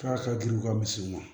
K'a ka jiri ka misiw